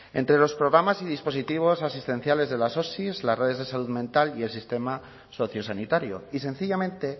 entre los programas y dispositivos asistenciales de las osi las redes de salud mental y el sistema sociosanitario y sencillamente